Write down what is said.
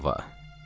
İradənin gücü.